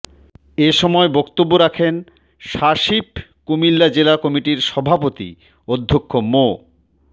এ সময় বক্তব্য রাখেন স্বাশিপ কুমিল্লা জেলা কমিটির সভাপতি অধ্যক্ষ মো